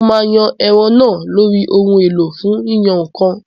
Mo máa yan ẹran náà lórí ohun èlò fún yíyan nǹkan